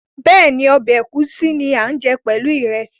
Bẹ́ẹ̀ni, ọbẹ̀ ẹ̀gúsí ni a ń jẹ pẹ̀lú ìrẹsì